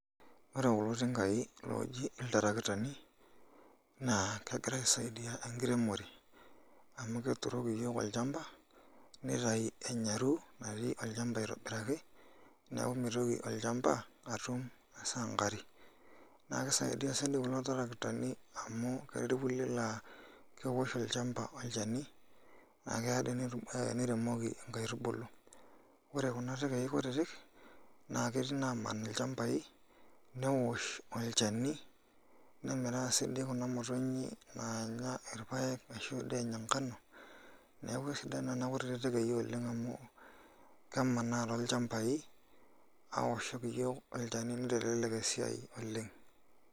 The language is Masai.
Ore kulo tingaai looji iltarakitani naa kegira aisaidia enkiremore amu keturoki iyiook olchamba nitayu enyarru natii olchamba aitobiraki neeku mitoki olchamba atum esankari naa kisaidia sii kulo tarakitani amu ketii irkulie laa keosh olchamba olchani naa keya ake netum niremoki inkaiutubulu, ore kuna tekei kutitik naa ketii inaaman ilchambai neosh olchani nemiraa siinche kuna motonyik naanya irpaek ashu dee enya ngano neeku sidan nena kutitik tekei oleng' amu kemanaa tolchambai aoshoki iyiook olchani nitelelek esiai oleng'.